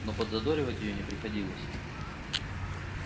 но подзадоривать её не приходилось